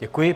Děkuji.